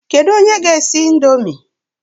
Kedu onye ga-esi ị̀ndómị́?